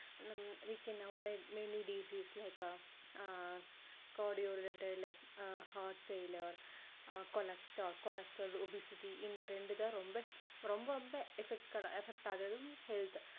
நம்ம we can avoid many disease like ஆஹ் cardio related like heart failure அஹ் cholesterol cholesterol obesity இந்த ரெண்டு தான் ரொம்ப ரொம்ப effec~effect ஆகுறதும் health